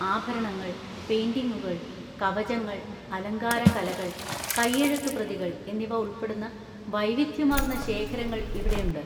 ആഭരണങ്ങൾ, പെയിന്‍റിംഗുകൾ, കവചങ്ങൾ, അലങ്കാര കലകൾ, കൈയെഴുത്തുപ്രതികൾ എന്നിവ ഉൾപ്പെടുന്ന വൈവിധ്യമാർന്ന ശേഖരങ്ങൾ ഇവിടെയുണ്ട്.